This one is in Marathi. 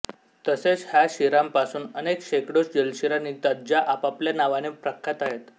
तसेच ह्या शिरांपासून अनेक शेकडो जलशिरा निघतात ज्या आपापल्या नावाने प्रख्यात आहेत